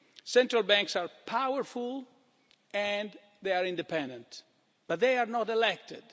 Central banks are powerful and independent, but they are not elected.